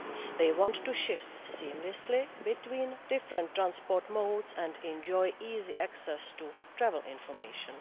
They want to shift seamlessly between different transport modes and enjoy easy access to travel information.